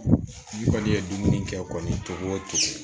Ni kɔni ye dumuni kɛ kɔni togo o togo